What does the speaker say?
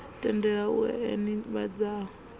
tendele u ea nivhadzo u